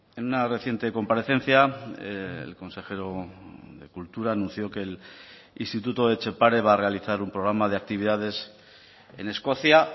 en una reciente comparecencia el consejero de cultura anunció que el instituto etxepare va a realizar un programa de actividades en escocia